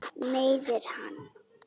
Meiðir hann.